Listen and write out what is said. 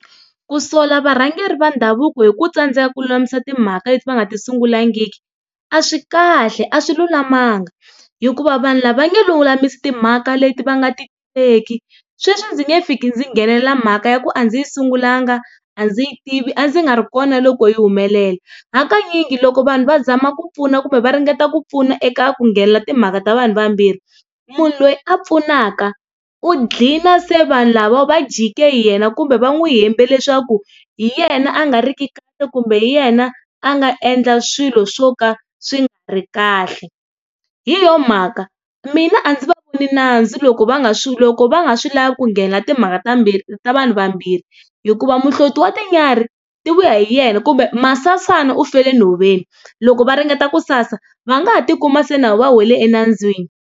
Ku sola varhangeri va ndhavuko hi ku tsandzeka ku lulamisa timhaka leti va nga ti sungulangiki a swi kahle a swi lulamanga hikuva vanhu lava nge lulamisi timhaka leti va nga ti tiveki, sweswi ndzi nge fiki ndzi nghenelela mhaka ya ku a ndzi yi sungulanga, a ndzi yi tivi a ndzi nga ri kona loko yi humelela. Hakanyingi loko vanhu va zama ku pfuna kumbe va ringeta ku pfuna eka ku nghenela timhaka ta vanhu vambirhi munhu loyi a pfunaka u gcina se vanhu lava va jike hi yena kumbe va n'wi hembele leswaku hi yena a nga riki kahle kumbe hi yena a nga endla swilo swo ka swi nga ri kahle. Hi yona mhaka mina a ndzi va voni nandzu loko va nga swi loko va nga swi lavi ku nghenela timhaka ta mbirhi ta vanhu vambirhi hikuva muhloti wa tinyarhi ti vuya hi yena kumbe masana u fele nhoveni loko va ringeta ku sasa va nga ha tikuma se na vona va wele enandzwini.